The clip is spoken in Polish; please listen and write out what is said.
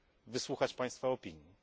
wysłuchać Państwa opinii.